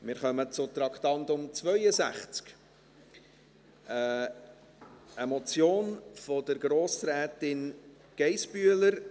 Wir kommen zum Traktandum 62, einer Motion von Grossrätin Geissbühler.